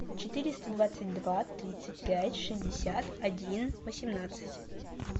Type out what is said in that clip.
четыреста двадцать два тридцать пять шестьдесят один восемнадцать